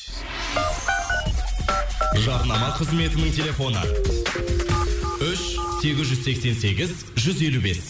жарнама қызметінің телефоны үш сегіз жүз сексен сегіз жүз елу бес